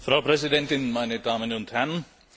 Frau Präsidentin, meine Damen und Herren!